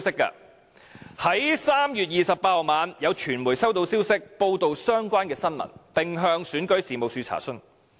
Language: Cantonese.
在3月28日晚上，有傳媒收到消息，報道相關的新聞，並向選舉事務處查詢。